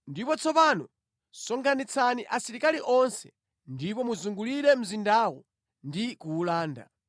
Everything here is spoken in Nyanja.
Ndipo tsopano sonkhanitsani asilikali onse ndipo muzungulire mzindawo ndi kuwulanda.”